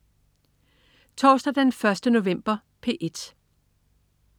Torsdag den 1. november - P1: